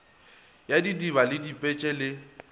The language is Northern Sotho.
ya didiba le dipetse le